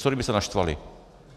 Co kdyby se naštvali?